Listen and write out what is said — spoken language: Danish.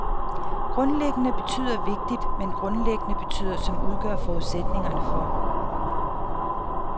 Grundliggende betyder vigtig, mens tilgrundliggende betyder som udgør forudsætningerne for.